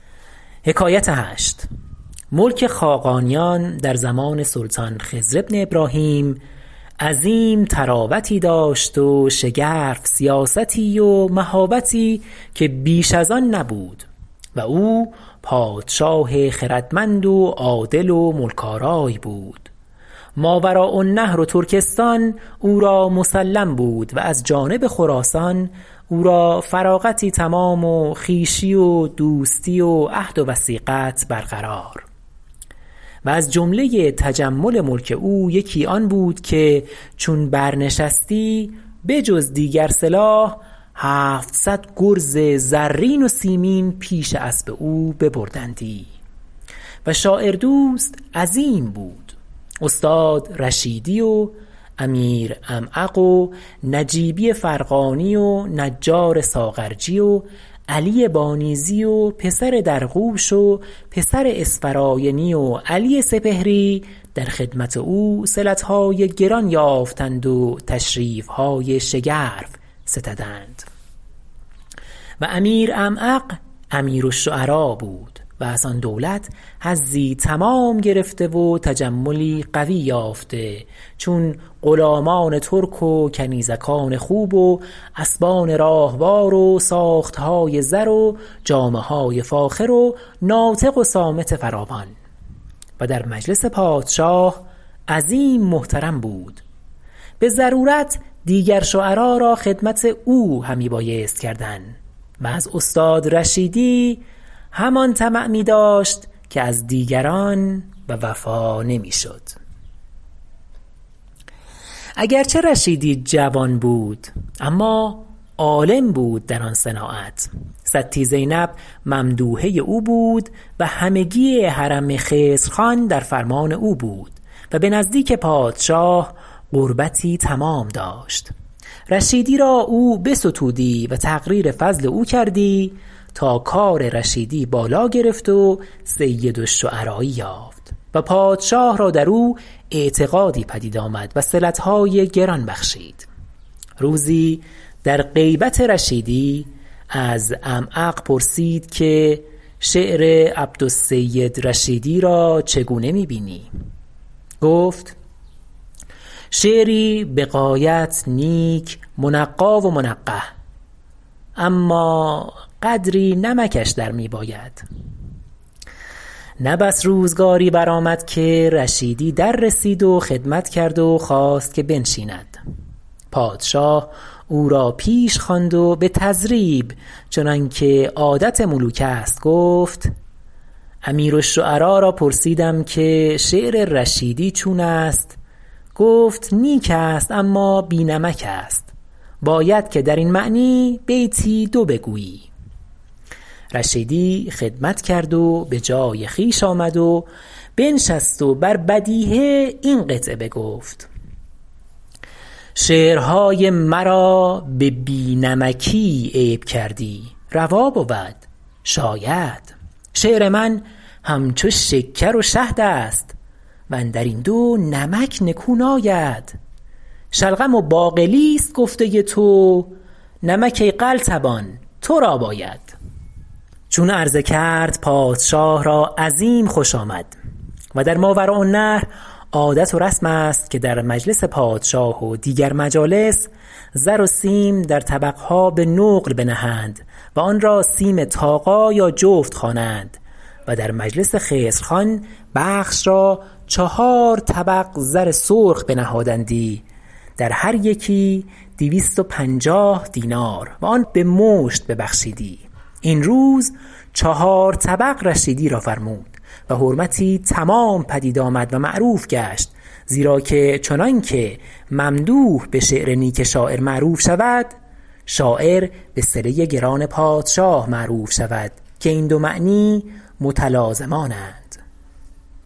ملک خاقانیان در زمان سلطان خضر بن ابراهیم عظیم طراوتی داشت و شگرف سیاستی و مهابتی که بیش از آن نبود و او پادشاه خردمند و عادل و ملک آرای بود ماوراء النهر و ترکستان او را مسلم بود و از جانب خراسان او را فراغتی تمام و خویشی و دوستی و عهد و وثیقت برقرار و از جمله تجمل ملک او یکی آن بود که چون برنشستی به جز دیگر سلاح هفتصد گرز زرین و سیمین پیش اسب او ببردندی و شاعردوست عظیم بود استاد رشیدی و امیر عمعق و نجیبی فرغانی و نجار ساغرجی و علی بانیذی و پسر درغوش و پسر اسفراینی و علی سپهری در خدمت او صلتهای گران یافتند و تشریفهای شگرف ستدند و امیر عمعق امیر الشعراء بود و از آن دولت حظی تمام گرفته و تجملی قوی یافته چون غلامان ترک و کنیزکان خوب و اسبان راهوار و ساختهای زر و جامهای فاخر و ناطق و صامت فراوان و در مجلس پادشاه عظیم محترم بود به ضرورت دیگر شعرا را خدمت او همی بایست کردن و از استاد رشیدی همان طمع می داشت که از دیگران و وفا نمی شد اگر چه رشیدی جوان بود اما عالم بود در آن صناعت ستی زینب ممدوحه او بود و همگی حرم خضر خان در فرمان او بود و به نزدیک پادشاه قربتی تمام داشت رشیدی او را بستودی و تقریر فضل او کردی تا کار رشیدی بالا گرفت و سید الشعرایی یافت و پادشاه را در او اعتقادی پدید آمد و صلتهای گران بخشید روزی در غیبت رشیدی از عمعق پرسید که شعر عبدالسید رشیدی را چون می بینی گفت شعری به غایت نیک منقی و منقح اما قدری نمکش در می باید نه بس روزگاری برآمد که رشیدی در رسید و خدمت کرد و خواست که بنشیند پادشاه او را پیش خواند و به تضریب چنان که عادت ملوک است گفت امیر الشعراء را پرسیدم که شعر رشیدی چون است گفت نیک است اما بی نمک است باید که در این معنی بیتی دو بگویی رشیدی خدمت کرد و به جای خویش آمد و بنشست و بر بدیهه این قطعه بگفت شعرهای مرا به بی نمکی عیب کردی روا بود شاید شعر من همچو شکر و شهد است واندر این دو نمک نکو ناید شلغم و باقلیست گفته تو نمک ای قلتبان ترا باید چون عرضه کرد پادشاه را عظیم خوش آمد و در ماوراءالنهر عادت و رسم است که در مجلس پادشاه و دیگر مجالس زر و سیم در طبقها به نقل بنهند و آن را سیم طاقا یا جفت خوانند و در مجلس خضر خان بخش را چهار طبق زر سرخ بنهادندی در هر یکی دویست و پنجاه دینار و آن به مشت ببخشیدی این روز چهار طبق رشیدی را فرمود و حرمتی تمام پدید آمد و معروف گشت زیرا که چنان که ممدوح به شعر نیک شاعر معروف شود شاعر به صله گران پادشاه معروف شود که این دو معنی متلازمانند